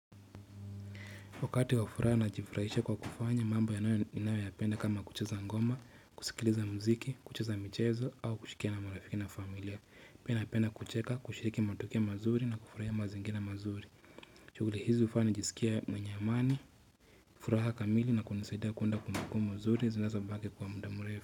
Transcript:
Wakati wa furaha najifurahisha kwa kufanya mambo yanayo ninayoyapenda kama kucheza ngoma, kusikiliza mziki, kucheza michezo au kushikiana na marafiki na familia. Pia napenda kucheka, kushiriki matokeo mazuri na kufurahia mazingira mazuri. Shughuli hizi hufanya nijisikie mwenye amani, furaha kamili na kunisaidia kuunda kumbukumbu nzuri, zinazobaki kwa muda mrefu.